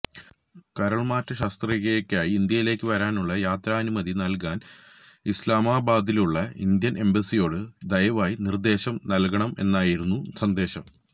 കരള്മാറ്റ ശസ്ത്രക്രിയക്കായി ഇന്ത്യയിലേക്ക് വരാനുള്ള യാത്രാനുമതി നല്കാന് ഇസ്ലമാബാദിലുള്ള ഇന്ത്യന് എംബസിയോട് ദയവായി നിര്ദ്ദേശം നല്കണമെന്നായിരുന്നു സന്ദേശം